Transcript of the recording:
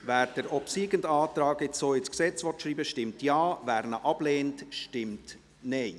Wer den obsiegenden Antrag so ins Gesetz schreiben will, stimmt Ja, wer diesen ablehnt, stimmt Nein.